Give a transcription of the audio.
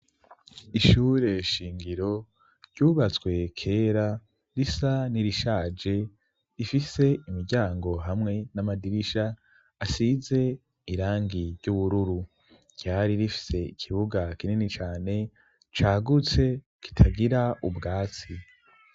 ishure shingiro ryubatswe kera risa n'irishaje ifise imiryango hamwe n'amadirisha asize irangi ry'ubururu ryari rifise ikibuga kinini cane cagutse kitagira ubwatsi